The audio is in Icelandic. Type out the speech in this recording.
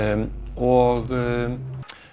og